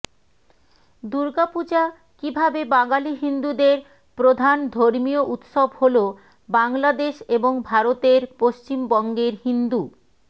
দুর্গাপূজা কীভাবে বাঙালি হিন্দুদের প্রধান ধর্মীয় উৎসব হলো বাংলাদেশ এবং ভারতের পশ্চিমবঙ্গের হিন্দু